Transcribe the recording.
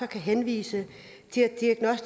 kan henvise